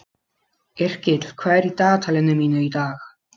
Yrkill, hvað er í dagatalinu mínu í dag?